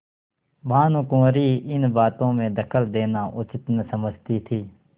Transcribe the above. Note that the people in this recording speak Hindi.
भानुकुँवरि इन बातों में दखल देना उचित न समझती थी